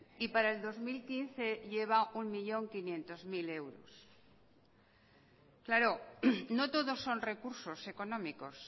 y para el dos mil quince lleva un millón quinientos mil euros claro no todo son recursos económicos